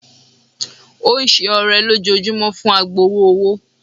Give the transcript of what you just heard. Ó ń ṣe ọrẹ lójoojúmọ́ fún agbowó-owó.